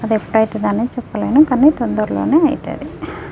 అయితే కానీ చెప్పలేను కానీ తొందర్లోనే ఐతది.